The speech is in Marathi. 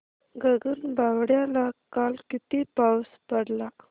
गगनबावड्याला काल किती पाऊस पडला